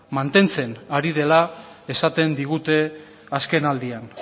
mantentzen ari dela esaten digute azkenaldian